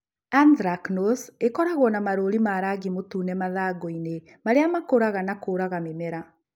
Anthracnose ĩkoragwo na marũũri ma rangi mũtune mathangũ-inĩ, marĩa makũraga na kũraga mĩmera.